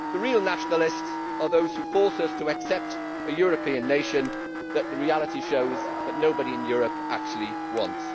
The real nationalists are those who force us to accept a European nation, which, as reality shows, nobody in Europe actually wants.